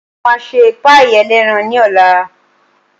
Mo máa ṣe páàì ẹlẹ́ran ní ọ̀la